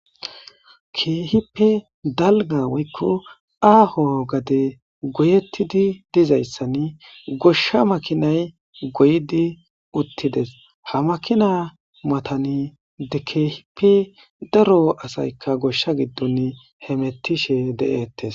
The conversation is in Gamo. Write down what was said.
Keehippe dalga woykko aaho gade goyettidi dizayssani goshsha makinay goydi uttides hamakina matani de keehippe daro asaykka goshsha giddon hemettishe de'ettes.